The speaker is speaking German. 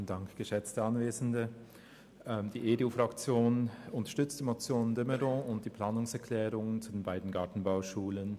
Die EDU-Fraktion unterstützt die Motion de Meuron und die Planungserklärungen zu den beiden Gartenbauschulen.